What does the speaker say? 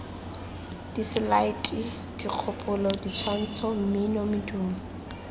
diselaete dikgopolo ditshwantsho mmino medumo